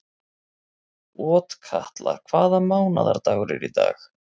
Otkatla, hvaða mánaðardagur er í dag?